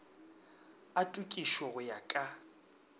a tokišo go ya ka